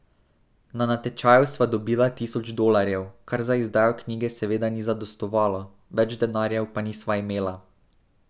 Na natečaju sva dobila tisoč dolarjev, kar za izdajo knjige seveda ni zadostovalo, več denarja pa nisva imela.